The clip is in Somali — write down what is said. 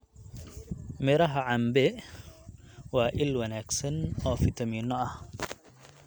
Miraha cambe waa il wanaagsan oo fiitamiinno ah.